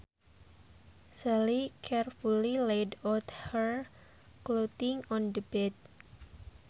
Sally carefully laid out her clothing on the bed